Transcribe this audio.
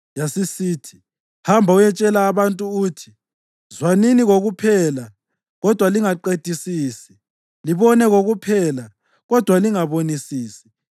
Yasisithi, “Hamba uyetshela abantu uthi: ‘Zwanini kokuphela, kodwa lingaqedisisi; libone kokuphela, kodwa lingabonisisi.’